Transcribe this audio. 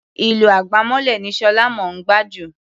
Ìlù àgbámọ́lẹ̀ ni Ṣọlá mọ̀ ọ́n gbá jù.